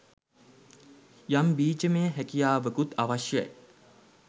යම් බීජමය හැකියාවකුත් අවශ්‍යයි.